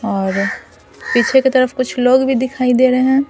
और पीछे की तरफ कुछ लोग भी दिखाई दे रहे हैं ।